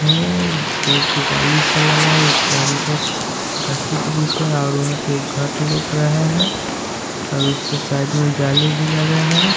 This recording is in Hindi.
यह एक डाली सा लगा है उसके अंदर गाछी ब्रिज है और वहां पे एक घर लउक रहा है और उसके साइड में जाली भी लगा है।